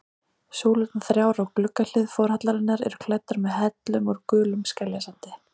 Súlurnar þrjár á gluggahlið forhallarinnar eru klæddar með hellum úr gulum skeljasandi.